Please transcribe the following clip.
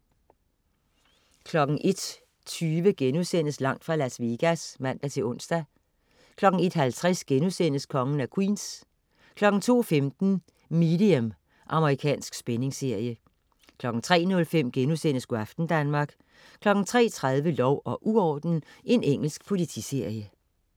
01.20 Langt fra Las Vegas* (man-ons) 01.50 Kongen af Queens* 02.15 Medium. Amerikansk spændingsserie 03.05 Go' aften Danmark* 03.30 Lov og uorden. Engelsk politiserie